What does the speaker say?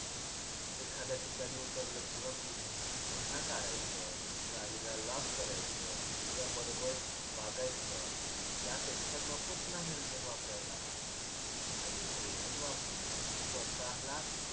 एखाद्या ठिकाणी उतरलं किंवा पुं की पुन्हा काढायचं, गाडीला lock करायचं किंवा बरोबर वागायचं त्यापेक्षा नकोच ना helmet वापरायला आणि helmet वापरून स्वतःला